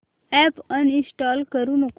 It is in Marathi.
अॅप अनइंस्टॉल करू नको